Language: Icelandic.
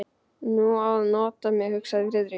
Nú á að nota mig, hugsaði Friðrik.